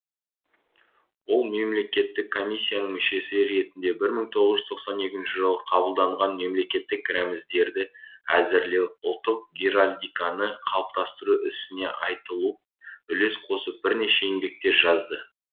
ол мемлекеттік комиссияның мүшесі ретінде бір мың тоғыз жүз тоқсан екінші жылы қабылданған мемлекеттік рәзімдерді әзірлеу ұлттық геральдиканы қалыптастыру ісіне айтулы үлес қосып бірнеше еңбектер жазды